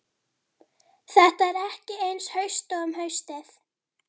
Þetta er ekki eins haust og um haustið.